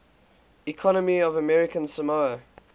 economy of american samoa